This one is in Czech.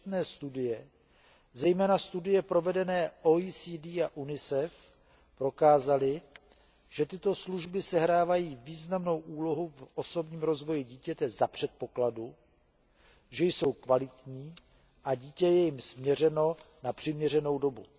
Četné studie, zejména studie provedené OECD a UNICEF, prokázaly, že tyto služby sehrávají významnou úlohu v osobním rozvoji dítěte za předpokladu, že jsou kvalitní a dítě je jim svěřeno na přiměřenou dobu.